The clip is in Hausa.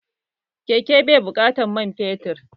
Keke bai da buƙatar man fetur